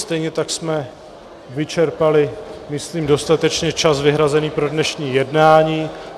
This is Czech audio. Stejně tak jsme vyčerpali myslím dostatečně čas vyhrazený pro dnešní jednání.